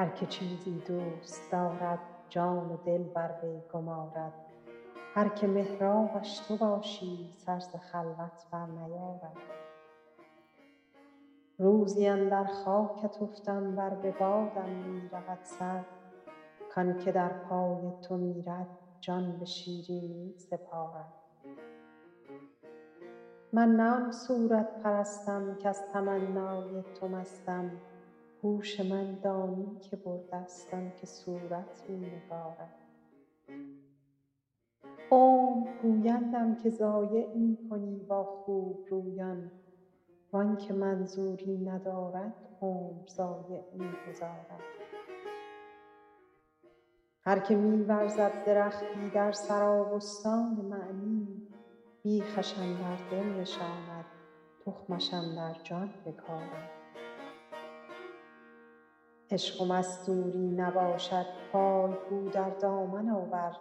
هر که چیزی دوست دارد جان و دل بر وی گمارد هر که محرابش تو باشی سر ز خلوت برنیارد روزی اندر خاکت افتم ور به بادم می رود سر کان که در پای تو میرد جان به شیرینی سپارد من نه آن صورت پرستم کز تمنای تو مستم هوش من دانی که برده ست آن که صورت می نگارد عمر گویندم که ضایع می کنی با خوبرویان وان که منظوری ندارد عمر ضایع می گذارد هر که می ورزد درختی در سرابستان معنی بیخش اندر دل نشاند تخمش اندر جان بکارد عشق و مستوری نباشد پای گو در دامن آور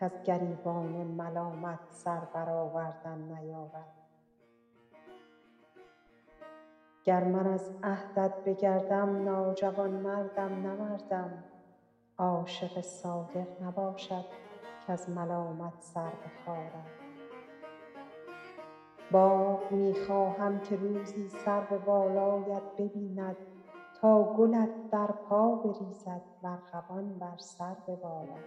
کز گریبان ملامت سر برآوردن نیارد گر من از عهدت بگردم ناجوانمردم نه مردم عاشق صادق نباشد کز ملامت سر بخارد باغ می خواهم که روزی سرو بالایت ببیند تا گلت در پا بریزد و ارغوان بر سر ببارد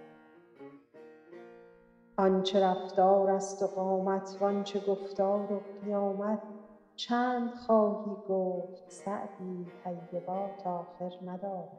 آن چه رفتارست و قامت وان چه گفتار و قیامت چند خواهی گفت سعدی طیبات آخر ندارد